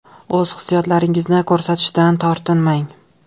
O‘z hissiyotlaringizni ko‘rsatishdan tortinmang.